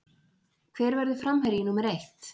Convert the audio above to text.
Hver verður framherji númer eitt?